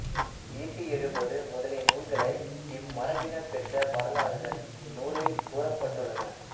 ஈட்டியெழுபது முதலிய நூல்களை இம்மரபினர் பெற்ற வரலாறுகள் இந்நூலில் கூறப்பட்டுள்ளன